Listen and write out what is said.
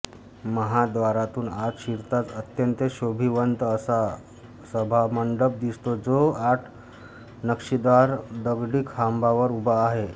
महाद्वारातून आत शिरताच अत्यंत शोभिवंत असा सभामंडप दिसतो जो आठ नक्षीदार दगडी खांबावर उभा आहे